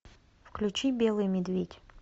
включи белый медведь